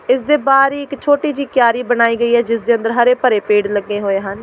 ਇਸ ਦੇ ਬਾਹਰ ਹੀ ਇੱਕ ਛੋਟੀ ਜਿਹੀ ਕਿਆਰੀ ਬਣਾਈ ਗਈ ਹੈ ਜਿਸ ਦੇ ਅੰਦਰ ਹਰੇ ਭਰੇ ਪੇੜ੍ਹ ਲੱਗੇ ਹੋਏ ਹਨ।